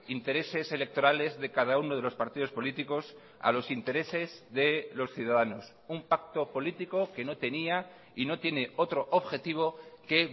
intereses electorales de cada uno de los partidos políticos a los intereses de los ciudadanos un pacto político que no tenía y no tiene otro objetivo que